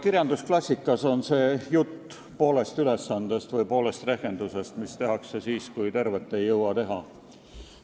Kirjandusklassikas leidub jutt poolest ülesandest või rehkendusest, mida tehakse siis, kui tervet ei jõua teha.